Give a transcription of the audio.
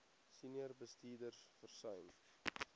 senior bestuurders versuim